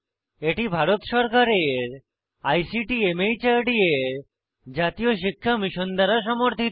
এটি ভারত সরকারের আইসিটি মাহর্দ এর জাতীয় শিক্ষা মিশন দ্বারা সমর্থিত